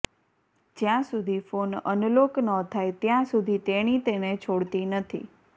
જ્યાં સુધી phone unlock ન થાય ત્યાં સુધી તેણી તેને છોડતી નથી